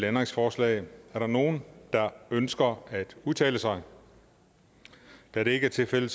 ændringsforslag er der nogen der ønsker at udtale sig da det ikke er tilfældet